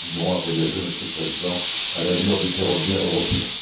Nous continuerons à voyager, Monsieur le Président, à l'allure du ferroviaire européen.